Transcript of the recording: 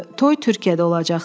Toy Türkiyədə olacaqdı.